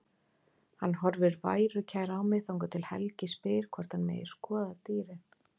Hann horfir værukær á mig þangað til Helgi spyr hvort hann megi skoða dýrin.